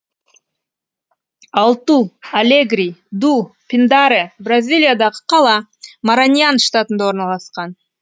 алту алегри ду пиндаре бразилиядағы қала мараньян штатында орналасқан